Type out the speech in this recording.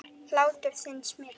Hlátur þinn smitar.